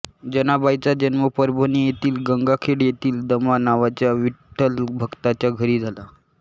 जनाबाईंचा जन्म परभणी येथील गंगाखेड येथील दमा नावाच्या विठ्ठलभक्ताच्या घरी झाला